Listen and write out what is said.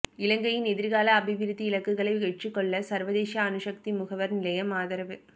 இலங்கையின் எதிர்கால அபிவிருத்தி இலக்குகளை வெற்றிகொள்ள சர்வதேச அணுசக்தி முகவர் நிலையம் ஆதரவு